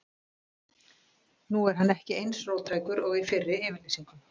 Nú er hann ekki eins róttækur og í fyrri yfirlýsingum.